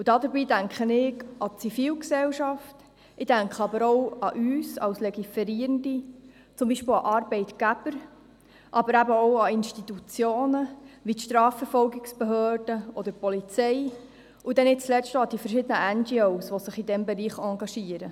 Dabei denke ich an die Zivilgesellschaft, aber auch an uns als Gesetzgebende, an Arbeitgeber, an Institutionen wie die Strafverfolgungsbehörden oder die Polizei, und nicht zuletzt denke ich an die verschiedenen NGO, die sich in diesem Bereich engagieren.